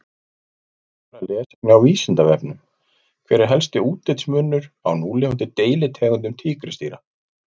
Frekara lesefni á Vísindavefnum: Hver er helsti útlitsmunur á núlifandi deilitegundum tígrisdýra?